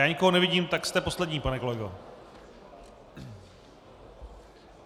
Já nikoho nevidím, tak jste poslední, pane kolego.